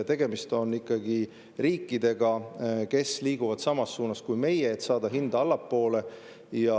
Tegemist on ikkagi riikidega, kes liiguvad meiega samas suunas, et saada hinda allapoole.